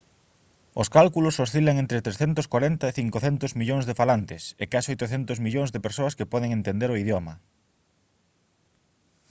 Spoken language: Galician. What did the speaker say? os cálculos oscilan entre 340 e 500 millóns de falantes e case 800 millóns de persoas que poden entender o idioma